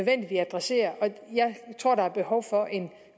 at adressere og jeg tror at der er behov for en